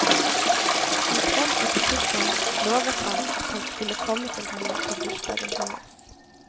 En kveld i butikken lovet han at han skulle komme til henne på bursdagen hennes.